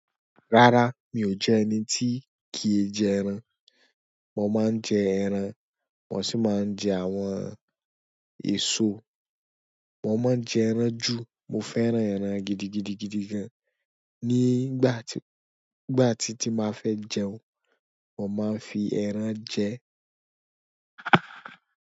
Rárá, mi ò jẹ ẹni tí kì í jẹ ẹran. Mo máa ń jẹ ẹran, mo sì máa ń jẹ àwọn èso. Mo máa ń jẹ ẹran jù. Mo fẹ́ràn ẹran gidigidigidi gan. Nígbà tí, nígbà tí tí máa fẹ́ jẹun, mo máa ń fi ẹran jẹ.